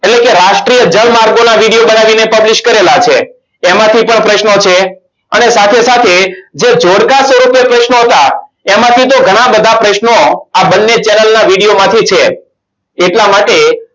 એટલે કે રાષ્ટ્રીય જળમાર્ગોના video બનાવીને publish કરેલા છે તેમાંથી પણ પ્રશ્નો છે અને સાથે સાથે જે જોડકા સ્વરૂપે પ્રશ્નો હતા એમાંથી તો ઘણા બધા પ્રશ્નો આ બંને channel ના video માંથી છે. એટલા માટે